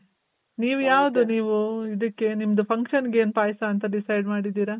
ನೀವ್ ಯಾವ್ದು ನೀವು ಇದಕ್ಕೆ ನಿಮ್ದು function ಗ್ ಏನ್ ಪಾಯಸ ಅಂತ decide ಮಾಡಿದಿರಾ?